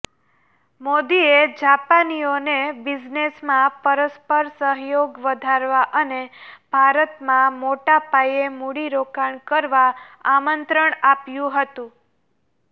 મોદીએ જાપાનીઓને બિઝનેસમાં પરસ્પર સહયોગ વધારવા અને ભારતમાં મોટાપાયે મૂડીરોકાણ કરવા આમંત્રણ આપ્યું હતું